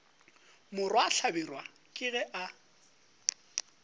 morwa hlabirwa ke ge a